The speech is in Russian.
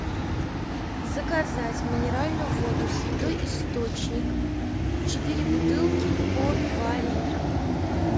заказать минеральную воду святой источник четыре бутылки по два литра